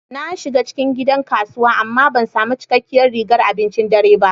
Na shiga cikin gidan kasuwa amma ban sami cikakkiyar rigar abincin dare ba.